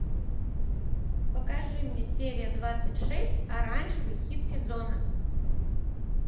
покажи мне серия двадцать шесть оранжевый хит сезона